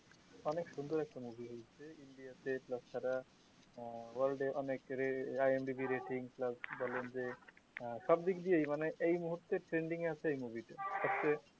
অনেক সুন্দর একটা মুভি তাছাড়া world এ অনেক IMDB rating plus বলেন যে সবদিক দিয়েই মানে এই মুহূর্তে trending এ আছে এই মুভি টা